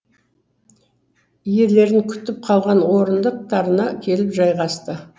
иелерін күтіп қалған орындықтарына келіп жайғасты